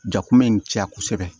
Ja kun bɛ in caya kosɛbɛ